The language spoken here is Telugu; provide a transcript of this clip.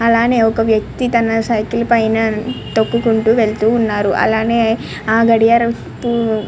అలానే ఒక వ్యక్తి ఒక సైకిల్ పైన తొక్కుకుంటూ వెళ్తూ ఉన్నారు. అలానే ఆ గడియారం--